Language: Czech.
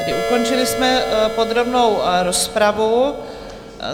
Tedy ukončili jsme podrobnou rozpravu.